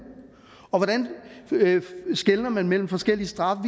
og hvordan skelner man mellem forskellige straffe